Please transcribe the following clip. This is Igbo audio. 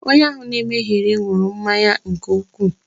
Onye ahụ na-emegheri ṅụrụ mmanya nke ukwu